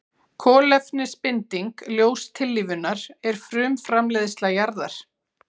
Kolefnisbinding ljóstillífunar er frumframleiðsla jarðar.